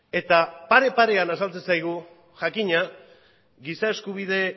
eta pare parean azaltzen zaigu jakina giza eskubide